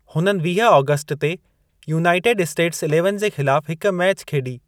हुननि वीह आगस्ट ते यूनाइटेड स्टेट्स इलेवन जे ख़िलाफ हिक मैच खेॾी।